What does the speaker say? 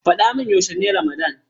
Faɗa mun yaushe ne ramadan.